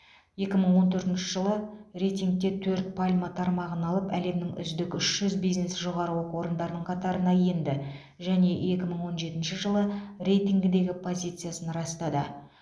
екі мың он төртінші жылы рейтингте төрт пальма тармағын алып әлемнің үздік үш жүз бизнес жоғары оқу орындарының қатарына енді және екі мың он жетінші жылы рейтингідегі позициясын растады